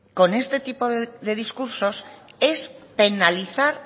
con este tipo de discursos es penalizar